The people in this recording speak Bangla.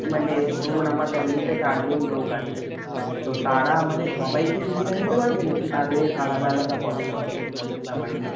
মানে ধরুন আমার family তে চার জন লোক আছে। তো তারা মানে সবাই কি সুবিধা নিতে পারবে? নাকি তাদের আলাদা আলাদা করাতে হবে? ব্যাপারটা